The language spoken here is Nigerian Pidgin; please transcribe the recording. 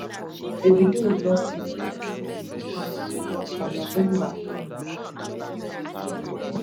davido lose im first son ifeanyi for november last twenty twenty two